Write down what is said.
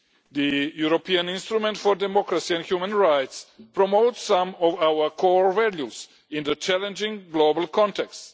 The European Instrument for Democracy and Human Rights promotes some of our core values in a challenging global context.